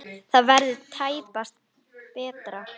Það verður tæpast betra.